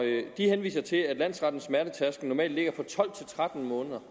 de henviser til at landsrettens smertetærskel normalt ligger på tolv til tretten måneder